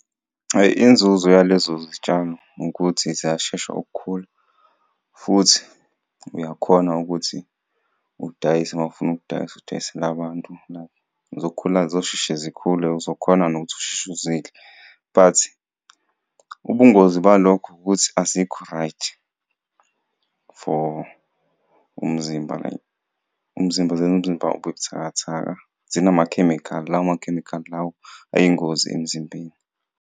Inzuzo yalezo zitshalo ukuthi ziyashesha ukukhula futhi uyakhona ukuthi udayise mawufuna ukudayisa udayisele bantu, like zokhula zosheshe zikhule uzokhona nokuthi usheshe uzidle. But ubungozi balokho ukuthi azikho-right for umzimba, like umzimba zenza umzimba ube buthakathaka zinamakhemikhali, lawo makhemikhali lawo ayingozi emzimbeni.